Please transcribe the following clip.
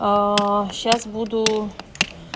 сейчас буду